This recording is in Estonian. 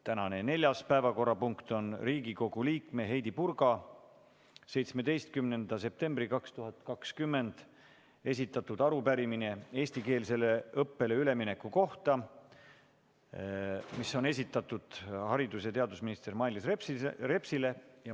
Tänane neljas päevakorrapunkt on Riigikogu liikme Heidy Purga 17. septembril 2020 esitatud arupärimine haridus- ja teadusminister Mailis Repsile eestikeelsele õppele ülemineku kohta.